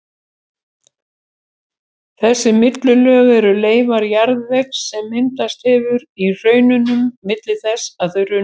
Þessi millilög eru leifar jarðvegs sem myndast hefur á hraununum milli þess að þau runnu.